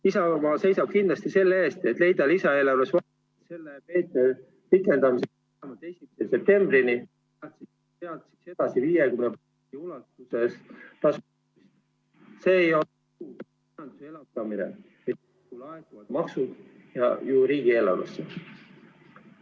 Isamaa seisab kindlasti selle eest, et leida lisaeelarves vahendeid selle meetme pikendamiseks ...... septembrini, sealt edasi 50% ulatuses ...... elavdamine, kui laekuvad maksud riigieelarvesse.